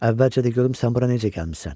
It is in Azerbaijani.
Əvvəlcə də görüm sən bura necə gəlmisən.